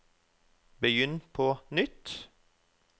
begynn på nytt